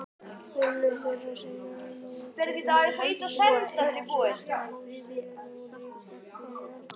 Vinur þeirra sem á mótorhjól býðst til að hrista fóstrið úr á járnbrautarteinum.